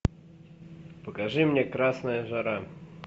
покажи мне красная жара